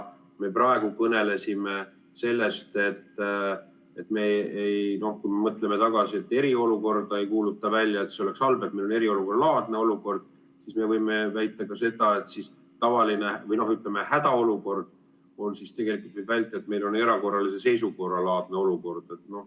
Me praegu kõnelesime sellest, et kui me mõtleme tagasi, et eriolukorda ei kuulutata välja, sest see oleks halb, ja meil on eriolukorralaadne olukord, siis me võime väita ka seda, et tavaline või, ütleme, hädaolukord on tegelikult meil erakorralise seisukorra laadne olukord.